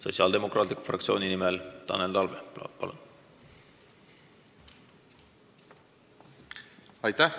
Sotsiaaldemokraatliku Erakonna fraktsiooni nimel Tanel Talve, palun!